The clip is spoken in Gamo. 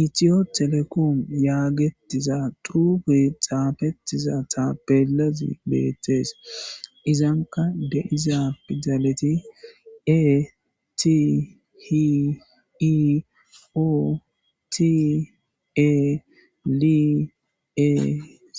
Itiyo telekoom yaagetiza dube xaafettiza ta pelazi beettees izanka de'iza fidaleti e ti hiio tie li